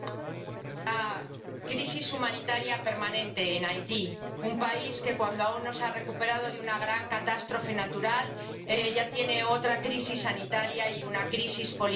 Señora presidenta, crisis humanitaria permanente en Haití. Un país que, cuando aún no se ha recuperado de una gran catástrofe natural, ya tiene otra crisis sanitaria y una crisis política.